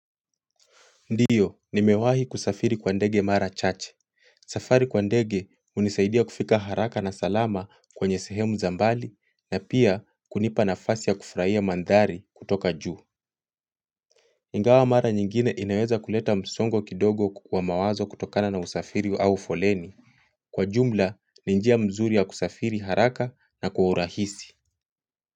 Ndiyo, nimewahi kusafiri kwa ndege mara chache. Safari kwa ndege hunisaidia kufika haraka na salama kwanye sehemu za mbali na pia hunipa nafasi ya kufurahia mandhari kutoka juu. Ingawa mara nyingine inaweza kuleta msongo kidogo kwa mawazo kutokana na usafiri au foleni. Kwa jumla, ni njia mzuri ya kusafiri haraka na kwa urahisi. Kwa hivyo.